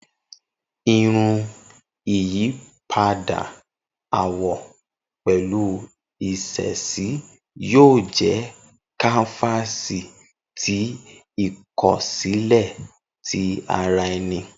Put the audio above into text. Irun, iyipada awọ pẹlu iṣesi, yoo jẹ kanfasi ti ikosile ti ara ẹni.